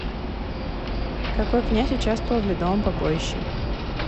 какой князь участвовал в ледовом побоище